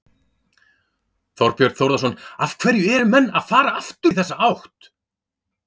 Þorbjörn Þórðarson: Af hverju eru menn að fara aftur í þessa átt?